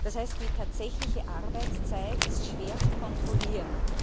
Das heißt, die tatsächliche Arbeitszeit ist schwer zu kontrollieren.